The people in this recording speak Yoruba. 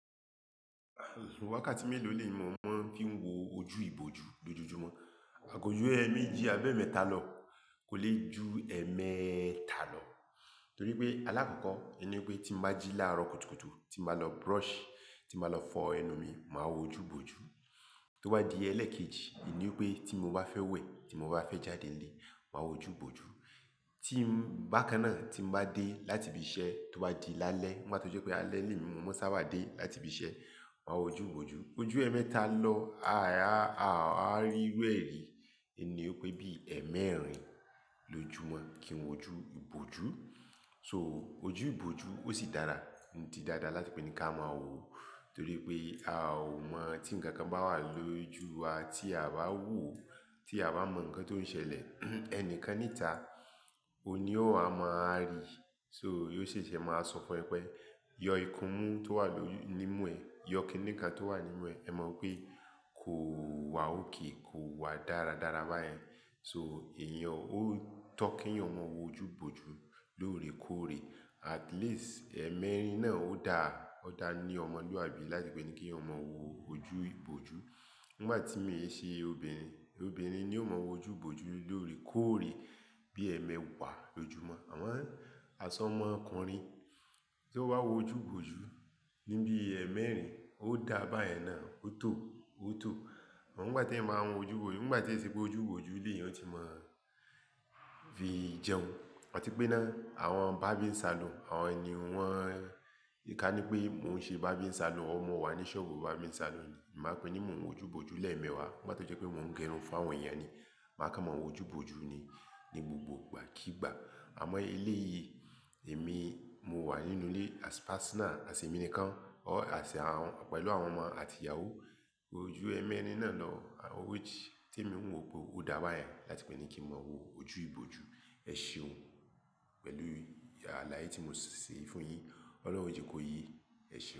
Àlòwàkà tí mélòó lè mọ̀ mọ́n fí ń wo ojú ibojú lójoojúmọ́? Kójú ẹ́ méjì abẹ́mẹ́ta lọ kò lè ju ẹmẹ́ta lọ. Torí pé alákọ̀ọ́kọ́, ẹni pé tí mo bá jí láàárọ̀ kùtùkùtù, tín bàá lọ brush, tín bàá lọ fọ ẹnu mi, màá wo ojú ibojú. Tí ó bá di ẹlẹ́ẹ̀kejì, ìní pé tí mo bá fẹ́ wẹ̀, tí mo bá fẹ́ jáde ilé, màá wo ojú ibojú. Tí ń bá kan náà tí mo bá dé láti ibi iṣẹ́, tí ó bá di lálé, Nigba tó jẹ́ pé alẹ́ lè ní mo máa sábà dé láti ibi iṣẹ́, màá wo ojú ibojú. Ojú ẹ́mẹ́ta lọ, Àwa rí irú ẹ̀ rí Èní pé bí ẹ́ mẹ́rin lojúmọ́ kí n wo ojú ibojú. So ojú ibojú ó sì dára. Nìdí dáadáa láti pé ní kí a máa wo, torí pé a ò mọ̀ tí ǹkan kan bá wà lójú wa tí a bá wò ó, tí a bá mọ̀ ǹkan tó ń ṣẹlẹ̀. Ẹnìkan níta, òun ni ó máa rí. So yóò ṣẹ̀ṣẹ̀ máa sọ fún ẹ pé, yọ ìkúmú tó wà ló-- nímú ẹ. Yọ kiní kan tó wà nínú ẹ. Ẹ mọ̀ pé kò wà òkè, kò wà dáradára bá ẹ. So èèyàn ó tọ́ kí eǹyan mọ wo ojú ibojú lóòrèkóòrè. At least ẹ́ mẹ́rin náà ó da, ó da ní ọmọlúwàbí láti pé ní kí Èèyàn mọ wo ojú ibojú. Nígbà tí mèé ṣe obìnrin, obìnrin ni ó mọ̀ wo ojú ibojú lóòrèkóòrè. Bí ẹ́ mẹ́wàá lójoojúmọ́. Àmọn ọsọ ọmọkùnrin tí ó bá wo ojú ibojú níbí ẹ́ mẹ́rin ó da bá ẹ náà, ó tò ó, ó tò. Òun bá ti ẹ̀ máa ń wo ojú wò, nígbà tí ẹ sọ pé ojú ibojú lèyàn tí mọ̀ ọ́n fi jẹun. Ọ̀ tí pé náà, àwọn barbing salon, àwọn nì wọn-- ìkà ni pé mò ń ṣe barber salon, or mọ wa ní ṣọbu barber salon. Màá pe ní mò ń wo ojú ibojú lẹ́ẹ̀mẹwàá, ni gbati kee ṣe wi pé mò ń gẹrun fún àwọn èèyàn ni. Màá kọ́ wọn wo ojú ibojú ni, ní gbogbo ìgbàkígbà. Àmọ́ ilé yìí, èmi mo wà nínú ilé as personal, as èmi nìkan, or as àwọn-- pẹ̀lú àwọn ọmọ àti ìyàwó. Ojú ẹ́ mẹ́rin náà lọ, which tí mò ń wo bo ó dá bá ẹ láti pé ní kí n mọ̀ wo ojú ibojú. Ẹ ṣe o, pẹ̀lú àlàyé tí mò ṣise fún un yín. Ọlọ́run jẹ kò yí. Ẹ ṣe o.